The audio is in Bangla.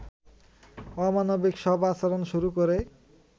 অমানবিক সব আচরণ শুরু করে